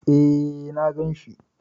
E, na gan shi.